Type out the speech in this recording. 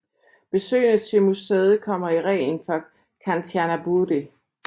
Besøgende til museet kommer i reglen fra Kanchanaburi